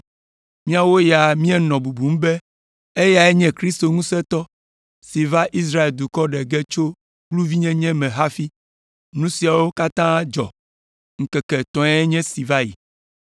Míawo ya míenɔ bubum be eyae nye Kristo ŋusẽtɔ si va Israel dukɔa ɖe ge tso kluvinyenye me hafi. Nu siawo katã dzɔ ŋkeke etɔ̃e nye esi va yi.